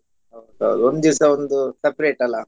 ಹೌದು ಒಂದ್ ದಿವ್ಸ ಒಂದು separate ಅಲ್ಲಾ?